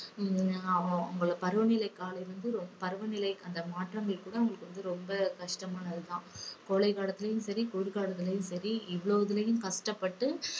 ஹம் அவங்களுக்கு பருவநிலை காலம் வந்து பருவநிலை அந்த மாற்றங்கள் கூட அவங்களுக்கு வந்து ரொம்ப கஷ்டமானது தான். கோடை காலத்திலையும் சரி குளிர் காலத்திலும் சரி இவ்ளோத்துலயும் கஷ்டப்பட்டு